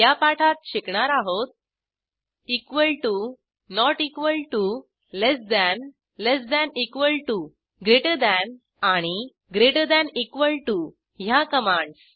या पाठात शिकणार आहोत equal to not equal to less than less than equal to greater than आणि ग्रेटर थान इक्वॉल टीओ ह्या कमांडस